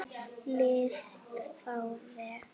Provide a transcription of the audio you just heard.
lið frá vegg?